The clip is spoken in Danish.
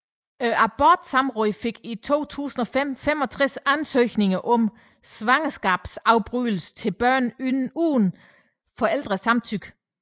Abortsamrådet fik i 2005 65 ansøgninger om svangerskabsafbrydelse til børn uden forældrenes samtykke